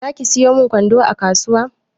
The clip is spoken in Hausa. Zaki sayo min kwando a kasuwa?